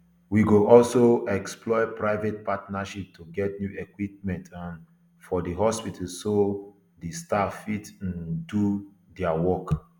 we go also explore private partnership to get new equipment um for di hospital so say di staff fit to um do dia job